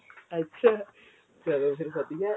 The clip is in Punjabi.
ਅੱਛਾ ਚੱਲੋ ਫੇਰ ਵਧੀਆਂ